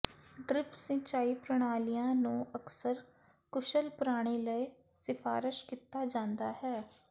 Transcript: drip ਸਿੰਚਾਈ ਪ੍ਰਣਾਲੀਆਂ ਨੂੰ ਅਕਸਰ ਕੁਸ਼ਲ ਪਾਣੀ ਲਈ ਸਿਫਾਰਸ਼ ਕੀਤਾ ਜਾਂਦਾ ਹੈ